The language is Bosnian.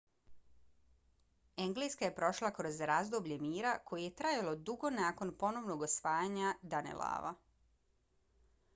engleska je prošla kroz razdoblje mira koje je trajalo dugo nakon ponovnog osvajanja danelawa